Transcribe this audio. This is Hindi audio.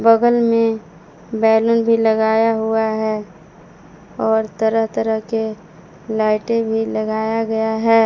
बगल में बैलून भी लगाया हुआ है और तरह तरह के लाइटे भी लगाया गया है।